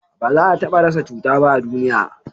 ba za a taba rasa cuta ba a duniya